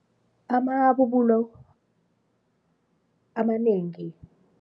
Amabubulo amanengi